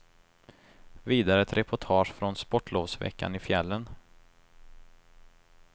Vidare ett reportage från sportlovsveckan i fjällen.